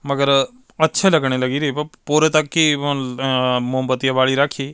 ਮਗਰ ਅੱਛੇ ਲਗਣ ਲਗੀ ਰਹੀ ਪੂਰੇ ਤੱਕ ਹੀ ਅ ਮੋਮਬੱਤੀ ਬਾਲੀ ਰਾਖੀ।